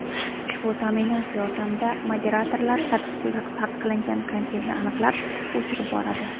Ushbu ta’minot yordamida moderatorlar taqiqlangan kontentni aniqlab, o‘chirib boradi.